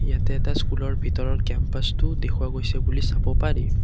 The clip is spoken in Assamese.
ইয়াতে এটা স্কুলৰ ভিতৰৰ কেম্পাছটো দেখুওৱা গৈছে বুলি চাব পাৰি।